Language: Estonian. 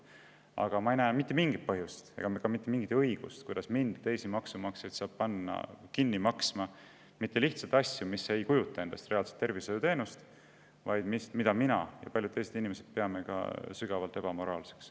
Aga ma ei näe mitte mingit põhjust ega ka mitte mingit õigust, kuidas saab panna mind ja teisi maksumaksjaid kinni maksma asju, mis ei kujuta endast tervishoiuteenust, ja mida mina pean ja paljud teised inimesed peavad ka sügavalt ebamoraalseks.